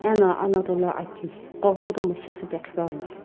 ena anato lo aki hipaqo kutomo shisüpe qhipuani.